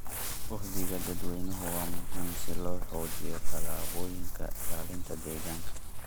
Uhdhigga dadweynaha waa muhiim si loo xoojiyo tallaabooyinka ilaalinta deegaanka.